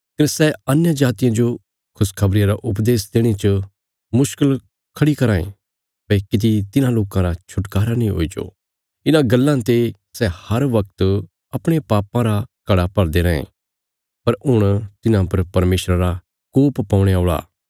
कने सै अन्यजातियां जो खुशखबरिया रा उपदेश देणे च मुश्कल खढ़ी कराँ ये भई किति तिन्हां लोकां रा छुटकारा नीं हुईजो इन्हां गल्लां ते सै हर वगत अपणे पापां रा घड़ा भरदे रैयें पर हुण तिन्हां पर परमेशरा रा कोप पौणे औल़ा